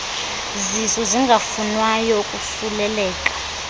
zisu zingafunwayo ukosuleleka